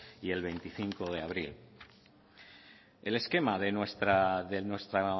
y el veinticinco de abril el esquema de nuestra